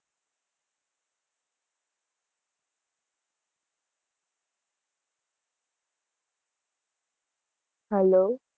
hello